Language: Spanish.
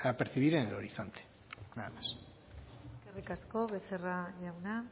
percibir en el horizonte nada más eskerrik asko becerra jauna